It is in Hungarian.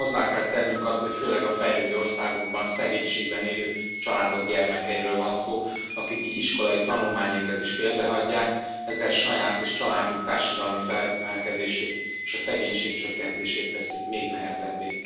Hiszen hozzá kell tennünk azt, hogy főleg a fejlődő országokban, szegénységben élő családok gyermekeiről van szó, akik így iskolai tanulmányaikat is félbehagyják, ezzel saját és családjuk társadalmi felemelkedését és a szegénység csökkentését teszik még nehezebbé.